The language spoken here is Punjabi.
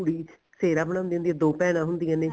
ਕੁੜੀ ਸਿਹਰਾ ਬਣਾਉਂਦੀ ਹੁੰਦੀ ਐ ਦੋ ਭੈਣਾ ਹੁੰਦੀਆਂ ਨੇ